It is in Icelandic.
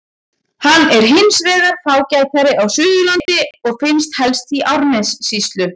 Hann er hins vegar fágætari á Suðurlandi og finnst helst í Árnessýslu.